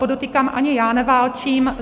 Podotýkám, ani já neválčím.